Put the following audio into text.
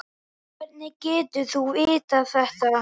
Hvernig getur þú vitað þetta?